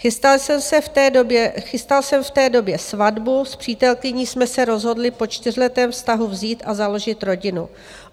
Chystal jsem v té době svatbu, s přítelkyní jsme se rozhodli po čtyřletém vztahu vzít a založit rodinu.